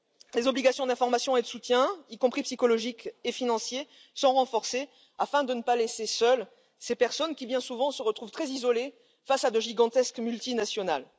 Les obligations d'information et de soutien, y compris psychologique et financier, sont renforcées afin de ne pas laisser seules ces personnes qui bien souvent se retrouvent très isolées face à de gigantesques multinationales.